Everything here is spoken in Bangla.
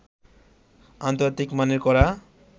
আন্তর্জাতিক মানের করা